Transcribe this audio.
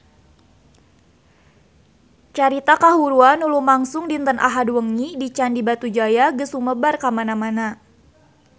Carita kahuruan anu lumangsung dinten Ahad wengi di Candi Batujaya geus sumebar kamana-mana